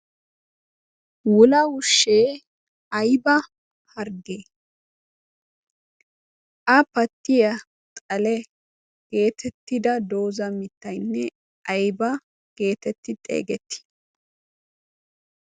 Wula wushshee aybba harggee? A pattiya xale geetettida dooza mittaynne aybba geetetti xeegetti?